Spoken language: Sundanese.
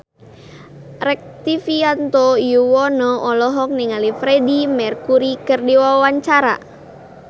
Rektivianto Yoewono olohok ningali Freedie Mercury keur diwawancara